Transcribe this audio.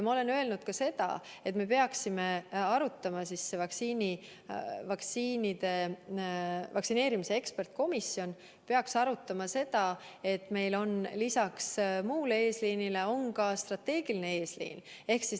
Ma olen öelnud sedagi, et vaktsineerimise eksperdikomisjon peaks arutama, et meil on lisaks muule eesliinile ka strateegiline eesliin.